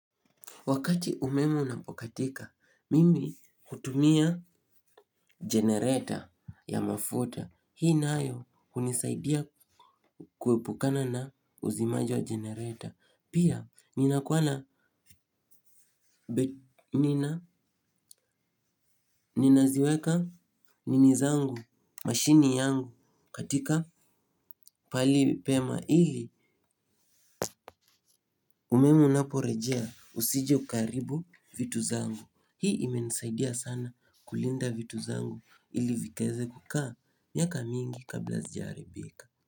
Wakati umeme unapokatika, mimi hutumia generator ya mafuta. Hii nayo hunisaidia kuepukana na uzimaji wa generator. Pia, ninakua na, ninaziweka nini zangu, mashini yangu katika pahali pema ili, umeme unaporejea usije ukaharibu vitu zangu. Hii imenisaidia sana kulinda vitu zangu ili vikaeze kukaa miaka mingi kabla hazijaharibika.